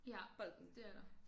Ja det er der